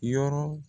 Yɔrɔ